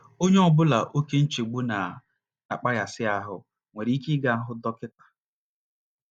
Onye ọ bụla oké nchegbu na - akpaghasị ahụ́ nwere ike ịga hụ dọkịta.